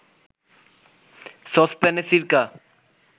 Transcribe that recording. সসপ্যানে সিরকা